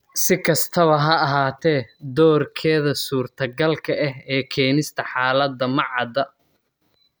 Si kastaba ha ahaatee, doorkeeda suurtagalka ah ee keenista xaaladda ma cadda.